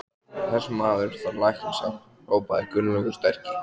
Þessi maður þarf læknishjálp hrópaði Gunnlaugur sterki.